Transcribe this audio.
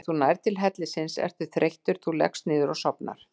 Þegar þú nærð til hellisins ertu þreyttur, þú leggst niður og sofnar.